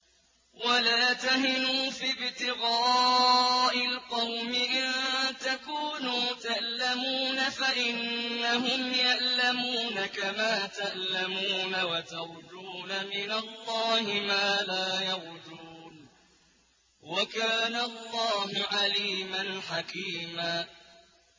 وَلَا تَهِنُوا فِي ابْتِغَاءِ الْقَوْمِ ۖ إِن تَكُونُوا تَأْلَمُونَ فَإِنَّهُمْ يَأْلَمُونَ كَمَا تَأْلَمُونَ ۖ وَتَرْجُونَ مِنَ اللَّهِ مَا لَا يَرْجُونَ ۗ وَكَانَ اللَّهُ عَلِيمًا حَكِيمًا